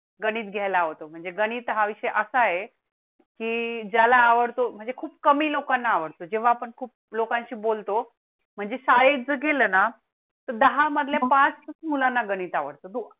गणित घ्यायला हवा तो गणित हा विषय असा आहे की त्याला आवडतो म्हणजे खूप कमी लोकांना आवडतो जेव्हा आपण खूप लोकांशी बोलतो म्हणजे शाळेत गेलं ना. दहा मध्ये पाच मुलांना गणित आवडतो